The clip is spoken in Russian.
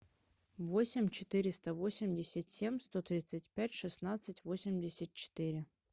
восемь четыреста восемьдесят семь сто тридцать пять шестнадцать восемьдесят четыре